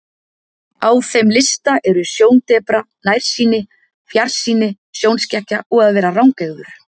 Á þeim lista eru sjóndepra, nærsýni, fjarsýni, sjónskekkja og að vera rangeygður.